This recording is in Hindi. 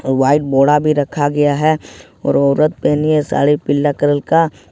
और वाइट बोरा भी रखा गया है और औरत पहनी है साड़ी पीला कलर का।